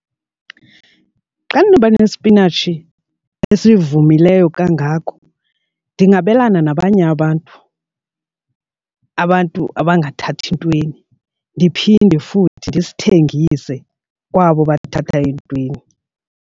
Xa ndinoba nesipinatshi esivumileyo kangako ndingabelana nabanye abantu, abantu abangathathi ntweni ndiphinde futhi ndisithengise kwabo bathatha entweni.